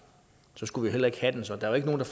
skulle vi heller ikke have den så der er ikke nogen der